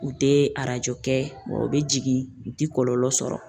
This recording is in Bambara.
U te kɛ u bi jigin u te kɔlɔlɔ sɔrɔ